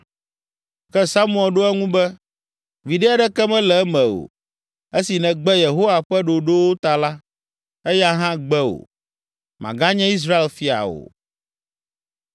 Ke Samuel ɖo eŋu be, “Viɖe aɖeke mele eme o, esi nègbe Yehowa ƒe ɖoɖowo ta la, eya hã gbe wò; màganye Israel Fia o!”